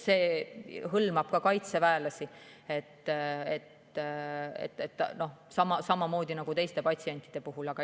See hõlmab ka kaitseväelasi, nendega on samamoodi nagu teiste patsientide puhul.